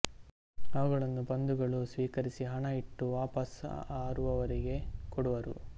ಅವುಗಳನ್ನು ಬಂಧುಗಳು ಸ್ವೀಕರಿಸಿ ಹಣ ಇಟ್ಟು ವಾಪಸು ಅರುವರಿಗೆ ಕೊಡುವರು